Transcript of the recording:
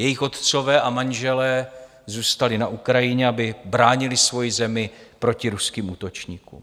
Jejich otcové a manželé zůstali na Ukrajině, aby bránili svoji zemi proti ruským útočníkům.